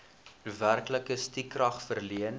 werklike stukrag verleen